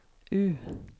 U